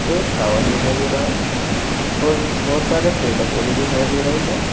एक टावर दिखाई दे रहा है बहुत सारे पेड़ पौधे दिखाई दे रहे हैं।